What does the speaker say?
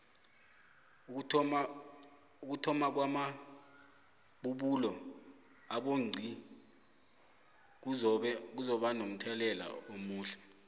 ukuthomakwama bubulo abonxngi kuzoba nomthelela amuhle